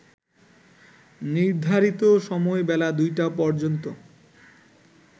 নির্ধারিত সময় বেলা ২টা পর্যন্ত